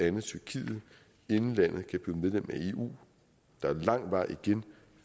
andet tyrkiet inden landet kan blive medlem af eu der er lang vej igen